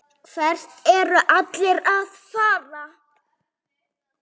Hvert eru allir að fara?